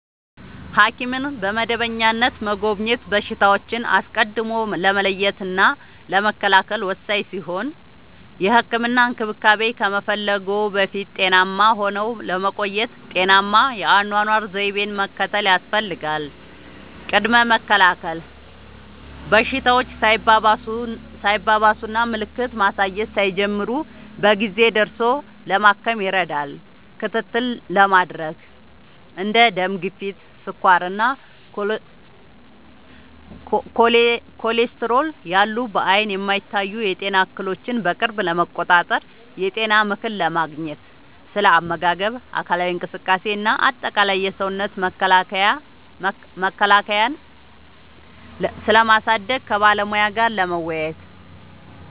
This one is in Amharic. ሐኪምን በመደበኛነት መጎብኘት በሽታዎችን አስቀድሞ ለመለየትና ለመከላከል ወሳኝ ሲሆን፥ የህክምና እንክብካቤ ከመፈለግዎ በፊት ጤናማ ሆነው ለመቆየት ጤናማ የአኗኗር ዘይቤን መከተል ያስፈልጋል። ቅድመ መከላከል፦ በሽታዎች ሳይባባሱና ምልክት ማሳየት ሳይጀምሩ በጊዜ ደርሶ ለማከም ይረዳል። ክትትል ለማድረግ፦ እንደ ደም ግፊት፣ ስኳር እና ኮሌስትሮል ያሉ በዓይን የማይታዩ የጤና እክሎችን በቅርብ ለመቆጣጠር። የጤና ምክር ለማግኘት፦ ስለ አመጋገብ፣ አካላዊ እንቅስቃሴ እና አጠቃላይ የሰውነት መከላከያን ስለማሳደግ ከባለሙያ ጋር ለመወያየት።